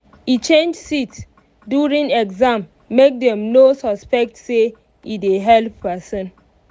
e change seat during exam make dem no suspect say e dey help person.